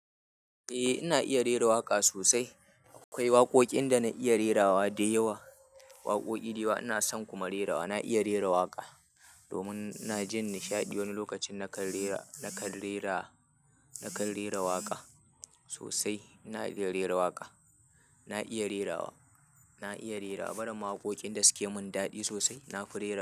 Eh, ina iya rera waƙa sosai. Akwai waƙoƙin da na iya rerawa da yawa, waƙoƙi dayawa ina son kuma rerawa. Na iya rera waƙa domin ina jin nishaɗi wani lokacin. Nakan rera, na kan rera, na kan rera waƙa sosai. Ina iya rera waƙa, na iya rerawa, na iya rera. Bara ma waƙoƙin da suke mun daɗi sosai na fi rerawa.